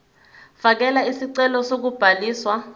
fakela isicelo sokubhaliswa